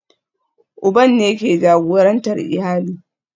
Uban ne ke jagorantar iyali